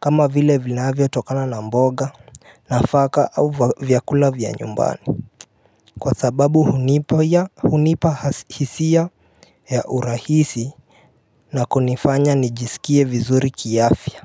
kama vile vinavyatokana na mboga, nafaka au vyakula vya nyumbani Kwa sababu hunipea, hunipa hisia ya urahisi na kunifanya nijisikie vizuri kiafya.